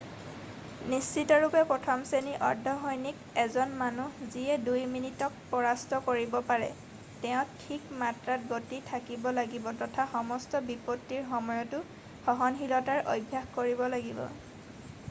নিশ্চিতৰূপে প্ৰথম শ্ৰেৰ্ণীৰ অৰ্ধ-সৈনিক এজন মানুহ যিয়ে দুই মিনিটক পৰাস্ত কৰিব পাৰে ,তেওঁৰ ঠিক মাত্ৰাত গতি থাকিব লাগিব তথা সমস্ত বিপত্তিৰ সময়তো সহনশীলতাৰ অভ্যাস কৰিব লাগিব।